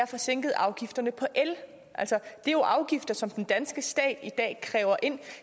få sænket afgifterne på el det er jo afgifter som den danske stat i dag kræver ind